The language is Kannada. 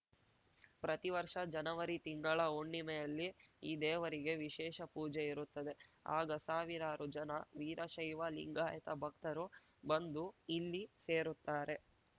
ಪ್ರತಿವರ್ಷ ಜನವರಿ ತಿಂಗಳ ಹುಣ್ಣಿಮೆಯಲ್ಲಿ ಈ ದೇವರಿಗೆ ವಿಶೇಷ ಪೂಜೆ ಇರುತ್ತದೆ ಆಗ ಸಾವಿರಾರು ಜನ ವೀರಶೈವ ಲಿಂಗಾಯತ ಭಕ್ತರು ಬಂದು ಇಲ್ಲಿ ಸೇರುತ್ತಾರೆ